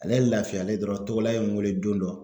Alɛ ye lafiyalen dɔrɔn Togola ye n weele don dɔ